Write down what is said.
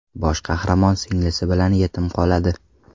Bosh qahramon singlisi bilan yetim qoladi.